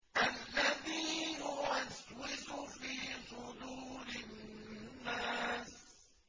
الَّذِي يُوَسْوِسُ فِي صُدُورِ النَّاسِ